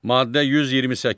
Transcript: Maddə 128.